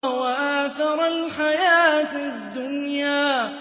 وَآثَرَ الْحَيَاةَ الدُّنْيَا